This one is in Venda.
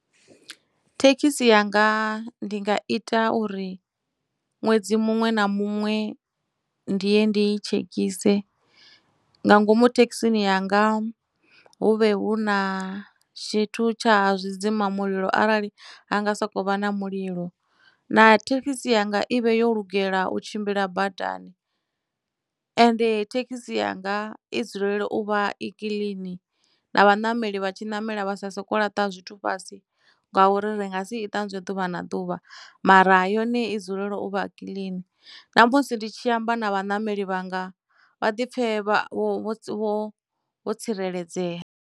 Thekhisi yanga ndi nga ita uri ṅwedzi muṅwe na muṅwe ndi ye ndii tshekise nga ngomu thekhisini yanga hu vhe hu na tshithu tsha zwidzimamulilo arali ha nga sokou vha na mulilo na thekhisi yanga ivhe yo lugela u tshimbila badani, ende thekhisi yanga i dzulele u vha i kiḽini na vhanameli vha tshi ṋamela vha sa soko laṱa zwithu fhasi ngauri ri nga si iṱanzwa ḓuvha na ḓuvha mara ha yone i dzulela u vha a kiḽini na musi ndi tshi amba na vhanameli vhanga vha ḓi pfe vho tsireledzea.